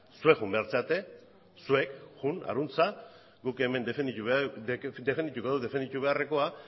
zuek joan behar zarete zuek joan harantz guk hemen defendituko dugu defenditu beharrekoa